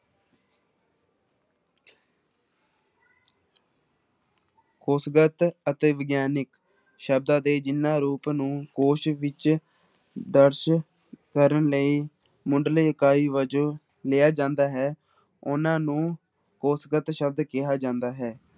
ਕੋਸ਼ਗਤ ਅਤੇ ਵਿਗਿਆਨਕ ਸ਼ਬਦਾਂ ਦੇ ਜਿਹਨਾਂ ਰੂਪ ਨੂੰ ਕੋਸ਼ ਵਿੱਚ ਦਰਜ ਕਰਨ ਲਈ ਮੁੱਢਲੀ ਇਕਾਈ ਵਜੋਂ ਲਿਆ ਜਾਂਦਾ ਹੈ, ਉਹਨਾਂ ਨੂੰ ਕੋਸ਼ਗਤ ਸ਼ਬਦ ਕਿਹਾ ਜਾਂਦਾ ਹੈ।